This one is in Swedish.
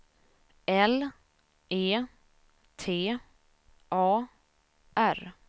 L E T A R